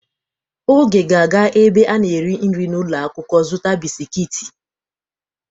Oge ga-aga ebe a na-eri nri n'ulo akwukwo zuta bisikiiti.